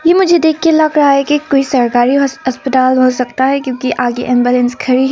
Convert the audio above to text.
की मुझे देख के लग रहा है कि कोई सरकारी अस्पताल हो सकता है क्योंकि आगे एंबुलेंस खड़ी है।